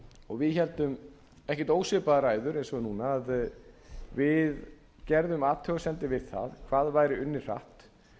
og við héldum ekkert ósvipaðar ræður og núna við gerðum athugasemdir við það hvað væri unnið hratt